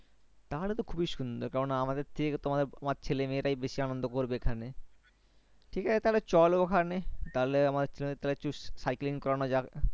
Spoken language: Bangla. তাহলে তো খুবি সুন্দর কারণ আমাদের থেকে তোমার আমার ছেলে-মেয়ে রাই বেশি অনেক আনন্দ করবে ঠিক আছে তাহলে চলো ওখানে তাহলে আমার ছেলে cycling করানো যাবে